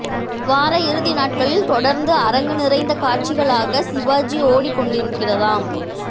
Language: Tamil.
வார இறுதி நாட்களில் தொடர்ந்து அரங்கு நிறைந்த காட்சிகளாக சிவாஜி ஓடிக் கொண்டிருக்கிறதாம்